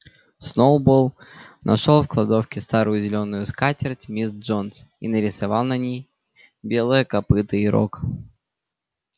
сноуболл нашёл в кладовке старую зелёную скатерть мисс джонс и нарисовал на ней белое копыто и рог